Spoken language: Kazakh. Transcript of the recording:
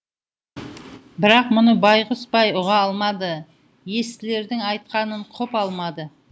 бірақ мұны байғұс бай ұға алмады естілердің айтқанын құп алмады